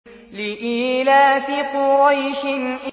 لِإِيلَافِ قُرَيْشٍ